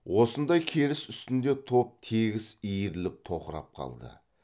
осындай керіс үстінде топ тегіс иіріліп тоқырап қалды